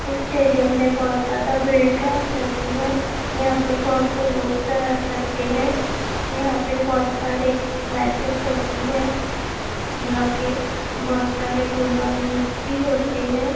इस स्टेडियम में बहुत ज्यादा भीड़ रहा करती है यहां पर बहुत से लोग जाया करते है यहां पे बहुत सारे मैचेज होती है यहां पे बहुत सारे टूर्नामेंटस भी होते है।